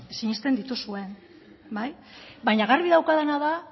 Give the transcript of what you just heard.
sinesten dituzuen bai baina garbi daukadana da